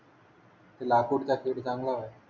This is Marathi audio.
ते लाकूड त्याच्यासाठी चांगला आहे